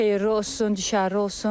Xeyirli olsun, düşərli olsun.